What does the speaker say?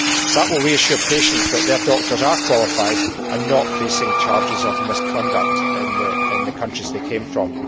That will reassure patients that their doctors are qualified and not facing charges of misconduct in the countries they came from.